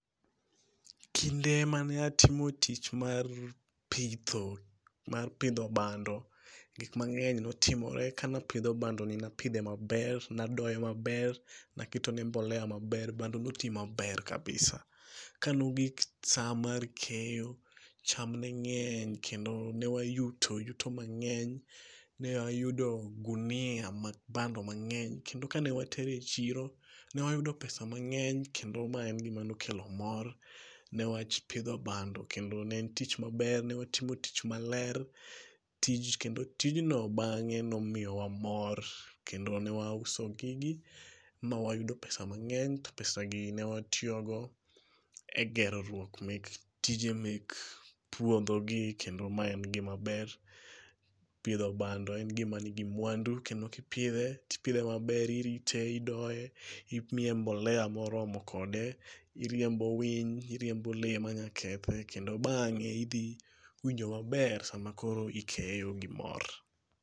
Kinde mane atimo tich mar pitho mar pidho bando, gik mang'eny notimore. Kane apidho bando ni napidhe maber. Nadoye maber. Naketone mbolea maber. Bando noti maber kabisa. Kanogik sa mar keyo cham ne ng'eny kendo ne wayuto yuto mang'eny. Ne ayudo gunia mar bando mang'eny kendo kane watere chiro ne wayudo pesa mang'eny kendo ma en gima ne okelo mor ne wach pidho bando kendo ne e tich maber. Newatimo tich maler. Tij kendo tijno bang'e nomiyowa mor. Kendo newa uso gigi ma wayudo pesa mang'eny. To pesa gi newatiyogo e geroruok mek tije mek puodho gi kendo ma en gima ber. Pidho bando en gima nigi mwandu kendo kipidhe tipidhe maber, irite, idoye imiye mboleya moromo kode. Iriembo winy. Iriembo le manya kethe kendo bang'e idhi winjo maber sama koro ikeyo gi mor.